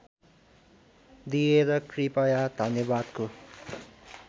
दिएर कृपया धन्यवादको